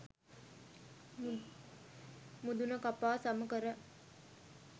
මුදුන කපා සම කර,